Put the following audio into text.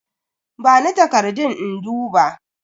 Bani takardun in duba.